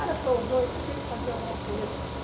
Era São João, isso, aquilo, fazia alguma fogueira.